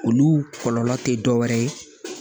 Olu kɔlɔlɔ tɛ dɔ wɛrɛ ye